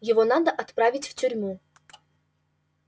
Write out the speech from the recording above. его надо отправить в тюрьму